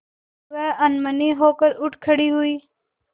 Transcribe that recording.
वह अनमनी होकर उठ खड़ी हुई